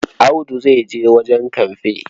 Audu zai je wajen kamfe.